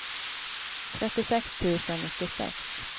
trettiosex tusen nittiosex